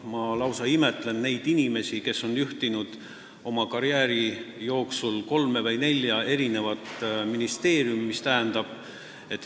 Ma lausa imetlen neid inimesi, kes on juhtinud oma karjääri jooksul kolme või nelja ministeeriumi.